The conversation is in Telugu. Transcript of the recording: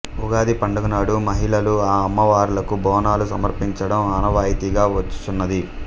ఉగాది పండుగ నాడు మహిళలు ఈ అమ్మవారలకు బోనాలు సమర్పించడం ఆనవాయితీగా వచ్చుచున్నది